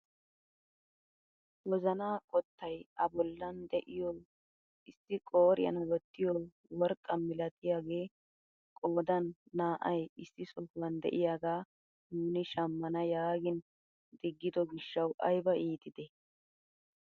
Wozanaa qottay a bollan de'iyoo issi qooriyaan wottiyoo worqqaa milatiyaage qoodan naa"ay issi sohuwaan de'iyaagaa nuuni shammana yaagin diggido giishshawu ayba iitidee!